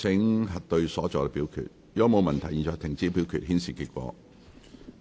如果沒有問題，現在停止表決，顯示結果。